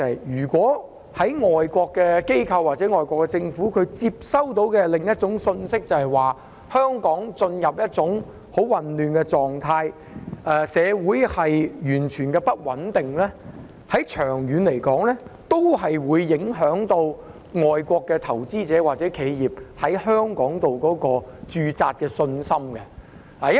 如果外國機構或外國政府接收到的是另一種信息，即香港進入了一種很混亂的狀態，社會完全不穩定，長遠來說，也會影響外國投資者或企業在香港駐扎的信心。